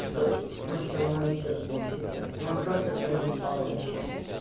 что ну что может что-то получится но он просто проебал вообще